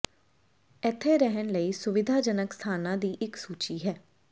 ਇੱਥੇ ਰਹਿਣ ਲਈ ਸੁਵਿਧਾਜਨਕ ਸਥਾਨਾਂ ਦੀ ਇੱਕ ਸੂਚੀ ਹੈ